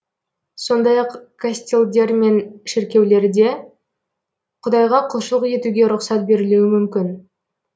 сондай ақ костелдер мен шіркеулерде құдайға құлшылық етуге рұқсат берілуі мүмкін